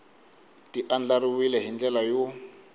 ti andlariwile hi ndlela yo